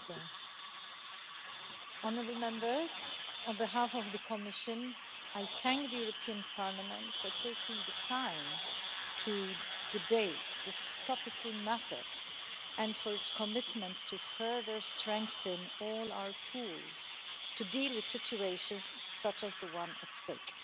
Mr President, on behalf of the Commission, I thank the European Parliament for taking the time to debate this topical matter, and for its commitment to further strengthening all our tools to deal with situations such as the one at stake.